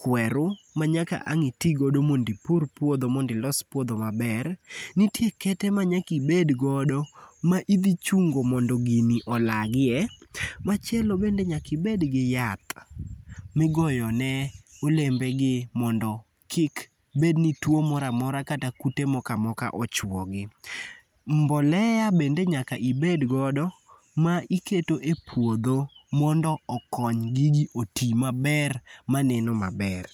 kweru manyaka ang' itigodo mondo ipur puodho mondo ilos puodho maber. Nitie kete manyaki bed godo ma idhi chungo mondo gini olagie. Machielo bende nyaki bed gi yath migoyo ne olembe gi mondo kik bed ni tuo moro amora kata kute moko amoka ochuo gi. Mbolea bende nyaka ibed godo ma iketo e puodho mondo okony gigi oti meber maneno maber.